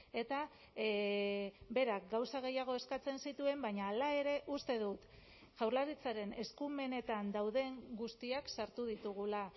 eta berak gauza gehiago eskatzen zituen baina hala ere uste dut jaurlaritzaren eskumenetan dauden guztiak sartu ditugula